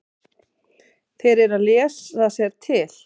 Þeir eru að lesa sér til.